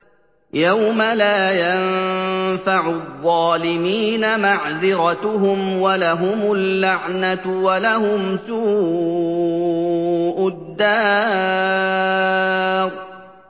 يَوْمَ لَا يَنفَعُ الظَّالِمِينَ مَعْذِرَتُهُمْ ۖ وَلَهُمُ اللَّعْنَةُ وَلَهُمْ سُوءُ الدَّارِ